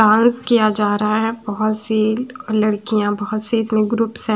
किआ जा रहा है बहत सी लडकिया बहत सी इतनी ग्रुप्स है।